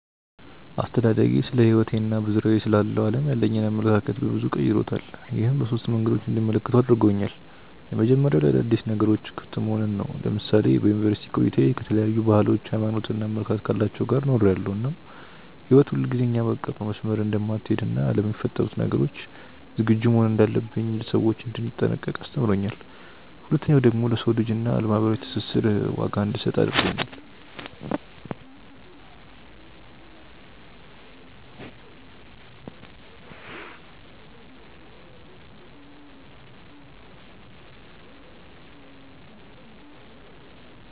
አስተዳደጌ ስለሕይወቴ እና በዙሪያዬ ስላለው ዓለም ያለኝን አመለካከት በበዙ ቀይሮታል። ይህም በሶስት መንገዶች እንድመለከተው አድርጎኛል። የመጀመሪያው ለአዳዲስ ነገሮች ክፍት መሆንን ነው። ለምሳሌ በዩኒቨርስቲ ቆይታዬ ከተለያዩ ባህሎች፣ ሃይማኖት እና አመለካከት ካላቸው ጋር ኖሬያለው እናም ህይወት ሁልጊዜ እኛ ባቀድነው መስመር እንደማትሀለድ እና ለሚፈጠሩ ነገሮች ዝግጁ መሆን እንዳለብኝ፣ ለሰዎች እንድጠነቀቅ አስተምሮኛል። ሁለተኛው ደግሞ ለሰው ልጅ እና ለማህበራዊ ትስስር ዋጋ እንድሰጥ አድርጎኛል።